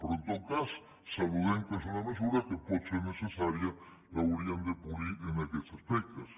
però en tot cas saludem que és una mesura que pot ser necessària l’hauríem de polir en aquests aspectes